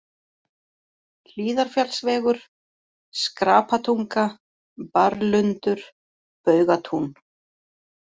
Hlíðarfjallsvegur, Skrapatunga, Barrlundur, Baugatún